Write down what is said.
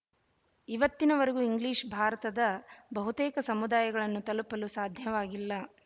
ಇವತ್ತಿನವರೆಗೂ ಇಂಗ್ಲೀಷ್ ಭಾರತದ ಬಹುತೇಕ ಸಮುದಾಯಗಳನ್ನು ತಲುಪಲು ಸಾಧ್ಯವಾಗಿಲ್ಲ